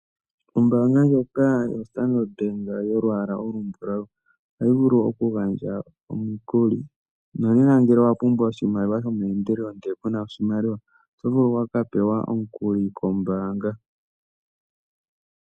Ombaanga ndjoka yoStandard Bank yolwaala olumbulau ohayi vulu okugandja omikuli nonena ngele owa pumbwa oshimaliwa shomeendelelo, ndele ku na oshimaliwa oto vulu okupewa omukuli kombaanga.